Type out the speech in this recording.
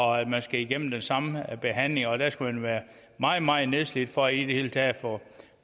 og at man skal igennem den samme behandling og at man skal være meget meget nedslidt for i det hele taget